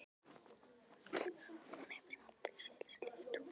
Hún hefur aldrei séð slíkt hús.